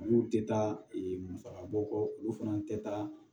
Olu tɛ taa musaka bɔ kɔ olu fana tɛ taa